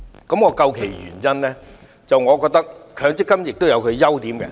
究其原因，我認為強積金有其優點。